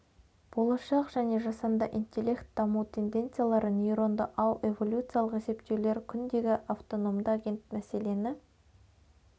болашақ және жасанды интеллект даму тенденциялары нейронды ау эволюциялық есептеулер күндегі автономды агент мәселені